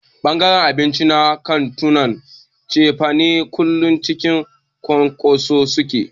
Ɓangaren abinci na kantunan cefane kullum cikin cunkoso suke.